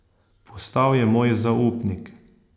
Postal je moj zaupnik.